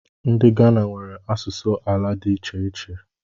Ndị Ghana nwere asụsụ ala dị iche iche